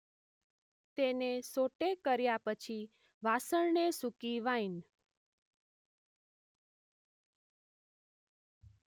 તેને સૉટે કર્યા પછી વાસણને સૂકી વાઈન